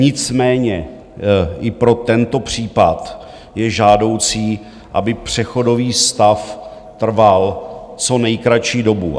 Nicméně i pro tento případ je žádoucí, aby přechodový stav trval co nejkratší dobu.